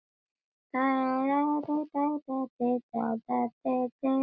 Börn: Áki og Össur.